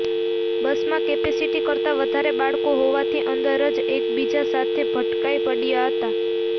બસમાં કેપેસિટી કરતા વધારે બાળકો હોવાથી અંદર જ એકબીજા સાથે ભટકાઈ પડયા હતા